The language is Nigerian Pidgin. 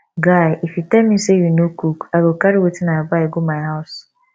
guy if you tell me say you no cook i go carry wetin i buy go my house